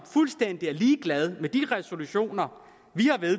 fuldstændig ligeglad med de resolutioner vi har